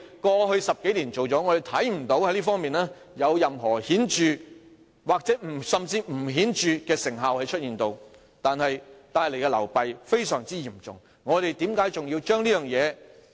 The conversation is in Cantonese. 過去10多年，我們看不到這方面有任何顯著的成效，甚至連不顯著的成效也沒有，卻帶來非常嚴重的流弊。